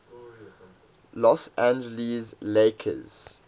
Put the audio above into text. los angeles lakers